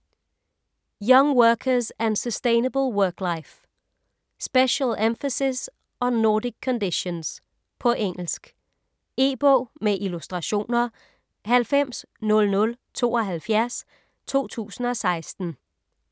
Young workers and sustainable work life: Special emphasis on Nordic conditions På engelsk. E-bog med illustrationer 900072 2016.